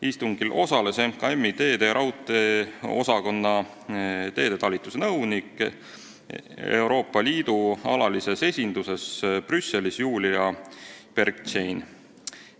Istungil osales Majandus- ja Kommunikatsiooniministeeriumi teede- ja raudteeosakonna teedetalituse nõunik Euroopa Liidu alalises esinduses Brüsselis Julia Bergštein.